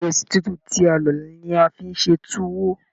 Ìrẹ̀sì tútù tí a lọ ní a fí n ṣe tuwo.